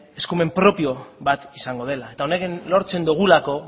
eskumen propio bat izango dela eta honen lortzen dugulako